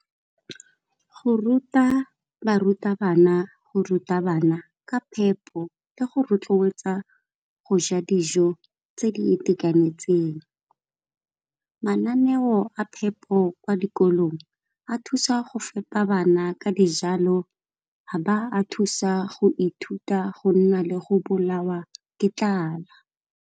Go ruta barutabana go ruta bana ka phepo le go rotloetsa go ja dijo tse di itekanetseng. Mananeo a phepo kwa dikolong a thusa go fepa bana ka dijalo a ba a thusa go ithuta go nna le go bolawa ke tlala.